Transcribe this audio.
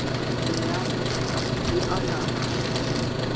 e a ya th e